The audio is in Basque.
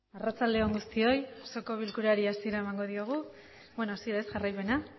arratsalde on guztioi osoko bilkurari hasiera emango diogu bueno asier ez jarraimena